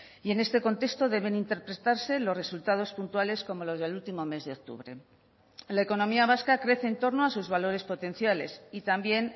y en este contexto deben interpretarse los resultados puntuales como los del último mes de octubre la economía vasca crece en torno a sus valores potenciales y también